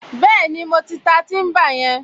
Bẹ́ẹ̀ni, mo ti ta tíḿbà yẹn